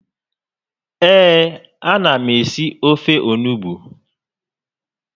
Ee, a na m esị ofe onugbu